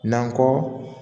N'an kɔ